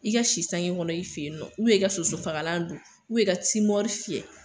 I ka si sange kɔnɔn i fe yen nɔ ubiyɛn i ga soso fagalan don ubiyɛn i ka timɔri fiyɛ